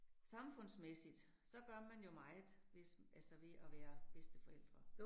Samfundsmæssigt, så gør man jo meget, hvis altså ved at være bedsteforældre